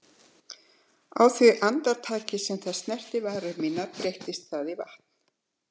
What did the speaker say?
Á því andartaki sem það snertir varir mínar breytist það í vatn.